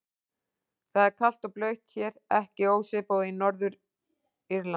Það er kalt og blautt hér, ekki ósvipað og í Norður-Írlandi.